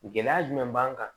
Gɛlɛya jumɛn b'an kan